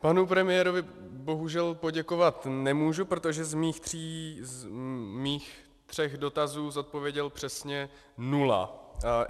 Panu premiérovi bohužel poděkovat nemůžu, protože z mých tří dotazů zodpověděl přesně nula.